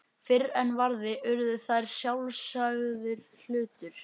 Fyrr en varði urðu þær sjálfsagður hlutur.